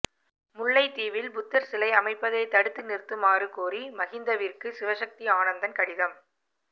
முல்லைத்தீவில் புத்தர் சிலை அமைப்பதை தடுத்து நிறுத்துமாறு கோரி மகிந்தவிற்கு சிவசக்தி ஆனந்தன் கடிதம்